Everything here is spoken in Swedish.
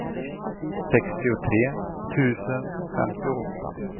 sextiotre tusen femtioåtta